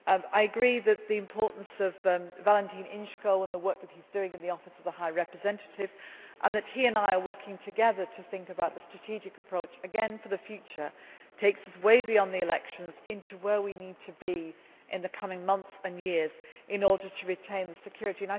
I agree on the importance of Valentin Inzko and the work he is doing in the Office of the High Representative. He and I are working together to think about the strategic approach again for a future that takes us way beyond the elections to where we need to be in the coming months and years in order to retain the security.